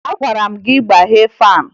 Agwara m gị gbaghee faanị!